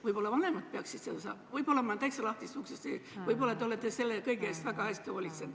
Võib-olla peaksid vanemad seda õpetama, aga võib-olla murran ma sisse täiesti lahtisest uksest ja te olete selle kõige eest juba väga hästi hoolt kandnud.